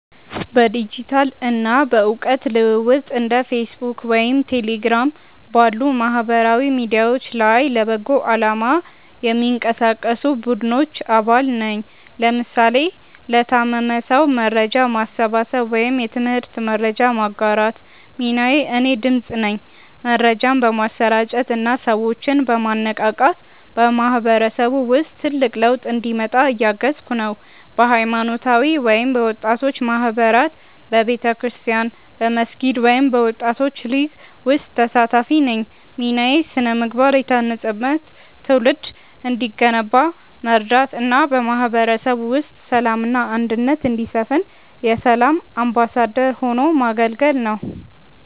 በዲጂታል እና በእውቀት ልውውጥ እንደ ፌስቡክ ወይም ቴሌግራም ባሉ ማህበራዊ ሚዲያዎች ላይ ለበጎ አላማ የሚንቀሳቀሱ ቡድኖች አባል ነኝ (ለምሳሌ ለታመመ ሰው መርጃ ማሰባሰብ ወይም የትምህርት መረጃ ማጋራት) ሚናዬ እኔ "ድምፅ" ነኝ። መረጃን በማሰራጨት እና ሰዎችን በማነቃቃት በማህበረሰቡ ውስጥ ትልቅ ለውጥ እንዲመጣ እያገዝኩ ነው። በሃይማኖታዊ ወይም በወጣቶች ማህበራት በቤተክርስቲያን፣ በመስጊድ ወይም በወጣቶች ሊግ ውስጥ ተሳታፊ ነኝ ሚናዬ ስነ-ምግባር የታነጸበት ትውልድ እንዲገነባ መርዳት እና በማህበረሰቡ ውስጥ ሰላም እና አንድነት እንዲሰፍን የ"ሰላም አምባሳደር" ሆኖ ማገልገል ነው